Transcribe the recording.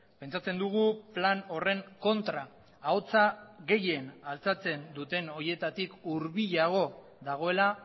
pentsatzen dugu plan horren kontra ahotsa gehien altxatzen duten horietatik hurbilago dagoela